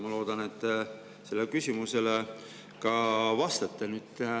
Ma loodan, et te sellele küsimusele ka vastate.